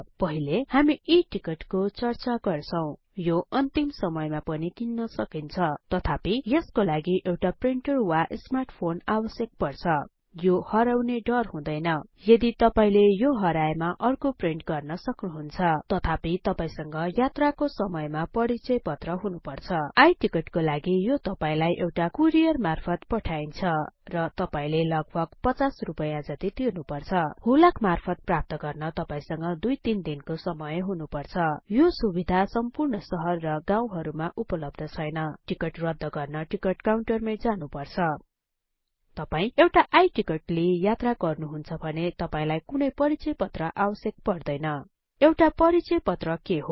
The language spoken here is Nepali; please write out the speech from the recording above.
पहिले हामी E टिकट को चर्चा गर्छौं यो अन्तिम समयमा पनि किन्न सकिन्छ तथापि यसको लागि एउटा प्रिन्टर वा स्मार्ट फोन आवश्यक पर्छ यो हराउने डर हुदैन यदि तपाईले यो हराएमा अर्को प्रिन्ट गर्न सक्नुहुन्छ तथापि तपाईसँग यात्राको समयमा परिचय पत्र हुनुपर्छ I टिकट को लागि यो तपाईलाई एउटा कुरियर मार्फत पठाइन्छ र तपाईले लगभग ५० रुपैयाँ जति तिर्नुपर्छ हुलाक मार्फत प्राप्त गर्न तपाईसँग २ ३ दिनको समय हुनुपर्छ यो सुबिधा सम्पूर्ण सहर र गाउँहरुमा उपलब्ध छैन टिकट रद्द गर्न टिकट काउन्टर मै जानुपर्छ तपाई एउटा I टिकट लिई यात्रा गर्नुहुन्छ भने तपाईलाई कुनै परिचय पत्र आवश्यक पर्दैन एउटा परिचय पत्र के हो